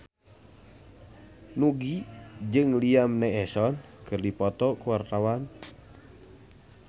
Nugie jeung Liam Neeson keur dipoto ku wartawan